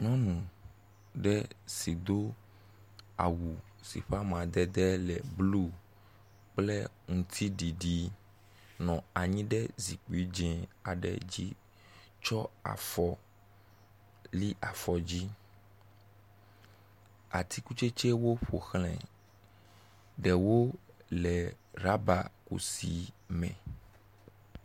Nyɔnu ɖe si do awu si ƒe amadede le blu kple ŋtiɖiɖi nɔ anyi ɖe zikpui dzi aɖe dzi tsɔ afɔ li afɔ dzi. atikutsetsewo ƒoxlae. Ɖewo le ɖaba kusi me.